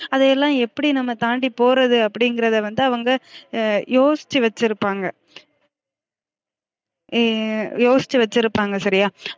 அதயெல்லாம் எப்டி நம்ம தாண்டி போறது அப்டிங்கிறத வந்து அவுங்க யோசிச்சு வச்சிருப்பங்க ஹம் யோசிச்சு வச்சிருப்பங்க சரியா